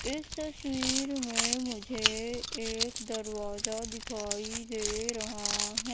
इस तस्वीर में मुझे एक दरवाजा दिखाई दे रहा है।